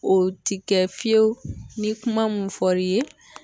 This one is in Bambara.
O ti kɛ fiyewu ni kuma mun fɔr'i ye